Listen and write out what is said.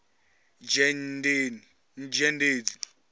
dzhendedzi